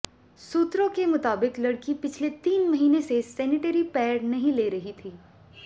सूत्रों के मुताबिक लड़की पिछले तीन महीने से सैनिटरी पैड नहीं ले रही थी